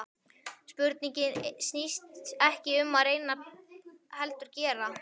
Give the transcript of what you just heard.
Spurningin snýst ekki um að reyna heldur gera!